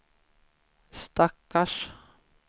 stackars